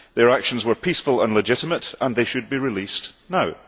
Their actions were peaceful and legitimate and they should be released now.